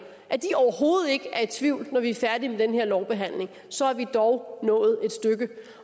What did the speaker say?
overhovedet ikke er i tvivl når vi er færdige med den her lovbehandling så er vi dog nået et stykke